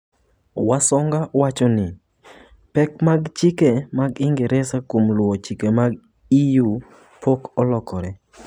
Wasonga wacho ni, pek mag chike mag Ingresa kuom luwo chike mag EU pok olokore